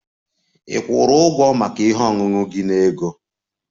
Ị kwụrụ ụgwọ maka ihe ọṅụṅụ gị na ego?